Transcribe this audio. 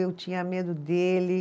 Eu tinha medo dele.